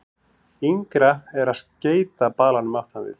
Yngra er að skeyta balanum aftan við.